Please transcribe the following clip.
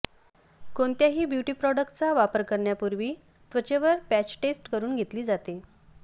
कोणत्याही ब्युटी प्रोडक्टचा वापर करण्यापूर्वी त्वचेवर पॅच टेस्ट करून घेतली जाते